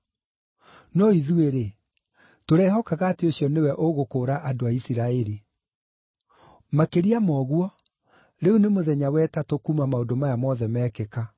No ithuĩ-rĩ, tũrehokaga atĩ ũcio nĩwe ũgũkũũra andũ Isiraeli. Makĩria ma ũguo, rĩu nĩ mũthenya wa ĩtatũ kuuma maũndũ maya mothe mekĩka.